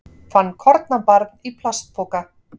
Fann kornabarn í plastpoka